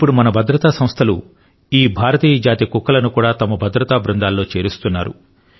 ఇప్పుడు మన భద్రతా సంస్థలు ఈ భారతీయ జాతి కుక్కలను కూడా తమ భద్రత బృందాలలో చేరుస్తున్నాయి